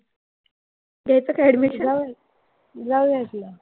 घ्यायचं का admission? जाऊया की.